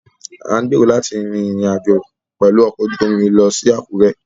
À ń gbèrò láti rin ìrìn àjò pẹ̀lú ọkọ̀ ojú omi lọ sí Àkúrẹ́